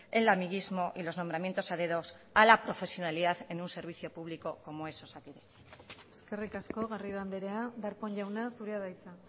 el amiguismo y los nombramientos a dedo a la profesionalidad en un servicio público como es osakidetza eskerrik asko garrido andrea darpón jauna zurea da hitza